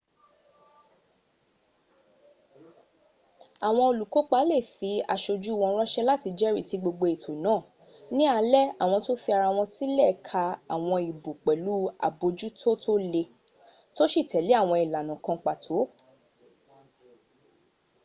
àwọn olùkópa lè fi aṣojú wọ́n ránṣẹ́ láti jẹ́rìsí gbogbo ètò náà ní alẹ́ àwọ́n tó fi ara wọ́n sílẹ̀ ka àwọn ìbò pẹ̀lú àbójútó tó le tó sì tẹ̀lé àwọn ìlànà kan pàtó